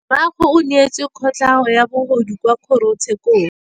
Rragwe o neetswe kotlhaô ya bogodu kwa kgoro tshêkêlông.